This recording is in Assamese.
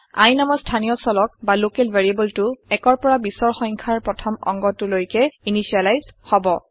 i নামৰ স্থানীয় চলক বা লকেল ভেৰিয়েবলটো ১ৰ পৰা ২০ৰ সংখ্যাৰ প্ৰথম অংগটো লৈকে ইনিচিয়েলাইজ হব